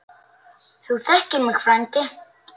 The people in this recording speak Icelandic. Þú þekkir mig frændi.